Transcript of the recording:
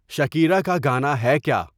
Shakira کا گانا ہے کیا